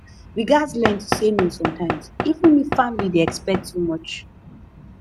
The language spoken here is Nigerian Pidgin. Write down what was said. we gats learn to say no sometimes even if family dey expect too much